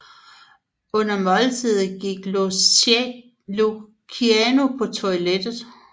Under måltidet gik Luciano på toilettet